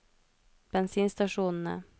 bensinstasjonene